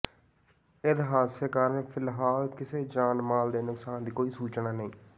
ਇਸ ਹਾਦਸੇ ਕਾਰਨ ਫਿਲਹਾਲ ਕਿਸੇ ਜਾਨ ਮਾਲ ਦੇ ਨੁਕਸਾਨ ਦੀ ਕੋਈ ਸੂਚਨਾ ਨਹੀਂ